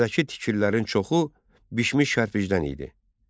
Şəhərdəki tikililərin çoxu bişmiş kərpicdən idi.